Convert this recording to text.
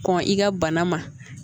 Kɔn i ka bana ma